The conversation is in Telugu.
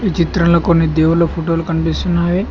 ఈ చిత్రంలో కొన్ని దేవుళ్ళ ఫోటోలు కనిపిస్తున్నావి.